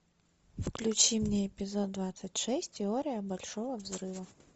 включи мне эпизод двадцать шесть теория большого взрыва